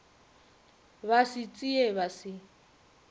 ba se tsee ba se